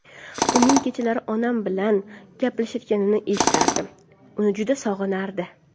Uning kechalari onam bilan gaplashayotganini eshitardim, uni juda sog‘inardi.